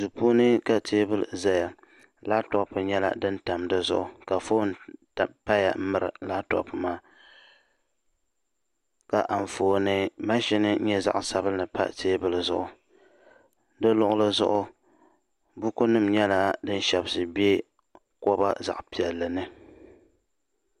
duu puuni ka teebuli ʒɛya labtop nyɛla din tam dizuɣu ka foon paya n miri labtop maa ka Anfooni maʒini nyɛ zaɣ sabinli pa teebuli zuɣu di luɣuli zuɣu buku nim nyɛla din shɛbisi bɛ koba piɛlli ni